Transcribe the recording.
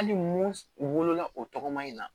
Hali mun wolola o tɔgɔma in na